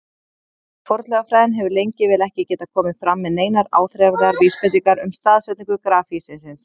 Fornleifafræðin hefur lengi vel ekki getað komið fram með neinar áþreifanlegar vísbendingar um staðsetningu grafhýsisins.